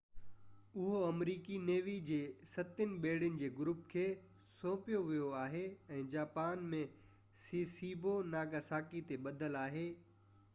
اهو آمريڪي نيوي جي ستين ٻيڙين جي گروپ کي سونپيو ويو آهي ۽ جاپان ۾ سيسيبو ناگاساڪي تي ٻڌل آهي